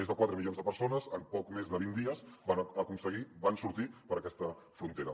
més de quatre milions de persones en poc més de vint dies van sortir per aquesta frontera